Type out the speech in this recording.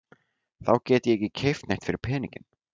Þá get ég ekki keypt neitt fyrir peninginn.